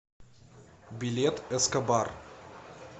билет эскобар